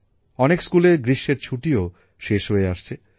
অনেক স্কুলে গ্রীষ্মের ছুটিও শেষ হয়ে আসছে